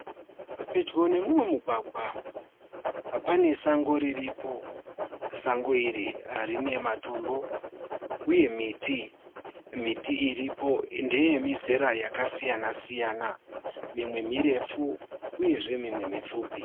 Pedyo nemumwe mugwagwa pane sango riripo. Sango iri rine matombo uye miti. Miti iripo ndeemizera akasiyana siyana. Mimwe mirefu uyezve mimwe mipfupi.